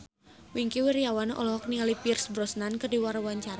Wingky Wiryawan olohok ningali Pierce Brosnan keur diwawancara